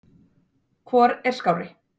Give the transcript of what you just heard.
Hvor er skárri?